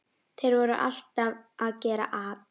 Þeir voru alltaf að gera at.